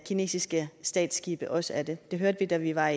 kinesiske statsskibe også er det det hørte vi da vi var